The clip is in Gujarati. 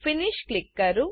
ફિનિશ ક્લિક કરો